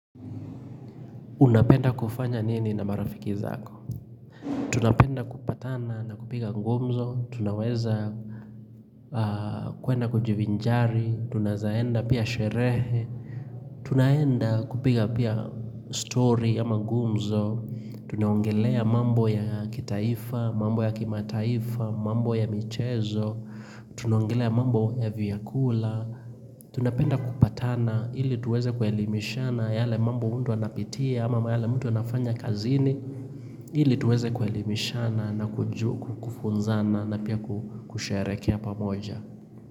Unapenda kufanya nini na marafiki zako? Tunapenda kupatana na kupiga gumzo, tunaweza kuenda kujivinjari, tunaeza enda pia sherehe, tunaenda kupiga pia stori ama gumzo, tunaongelea mambo ya kitaifa, mambo ya kimataifa, mambo ya michezo, tunaongelea mambo ya vyakula, tunapenda kupatana ili tuweza kuelimishana yale mambo mtu anapitia ama mahala mtu anafanya kazini ili tuweze kuelimishana na kufunzana na pia kusherehekea pamoja.